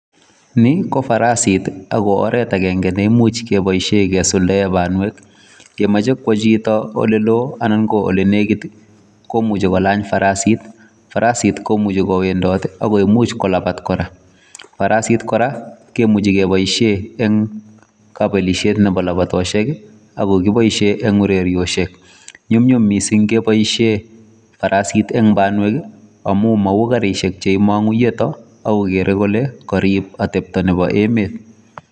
Ni ko farasiit ii ako oret agenge neimuuch kebaisheen kesuldaen banweek kemache kowaa chitoo ole loo anan ko ole nekiit komuchii kolaany farasiit ,farisit komuchei kowendoot imuuch kolapaat kora farasiit kora kemuchei kebaisheen en kabelishet nebo labatosheek ii ako boisie en ureriosiek nyunyum missing kebaisheen farisit en banweek amuun mauu karisheek cheimangu iyeet ako iboru kole kariib ateptap nebo emet.